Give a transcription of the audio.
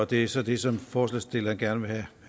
det er så det som forslagsstillerne gerne